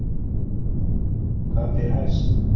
Hvað ber hæst?